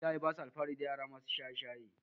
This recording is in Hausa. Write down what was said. iyaye basa alfahari dayara masu shaye shaye